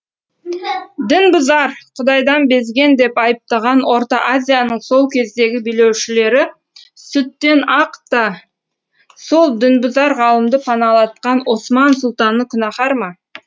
дінбұзар құдайдан безген деп айыптаған орта азияның сол кездегі билеушілері сүттен ақ та сол дінбұзар ғалымды паналатқан осман сұлтаны күнәһар ма